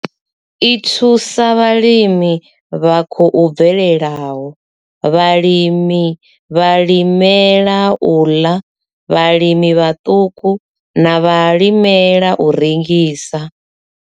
I thusa vhalimi vha khou bvelelaho, vhalimela u ḽa, vhalimi vhaṱuku na vhalimela u rengisa.